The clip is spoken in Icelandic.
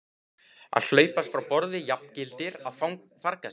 Að hlaupast frá borði jafngildir að farga sér.